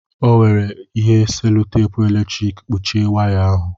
O were ihe sèlotèpu eletrik kpuchie waya ahụ